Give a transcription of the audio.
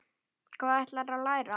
Hvað ætlarðu að læra?